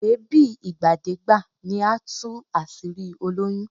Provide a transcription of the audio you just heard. Èébí ìgbàdégbà ni á tún àṣírí olóyún